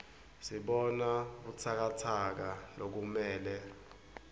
sibona butsakatsaka lokumele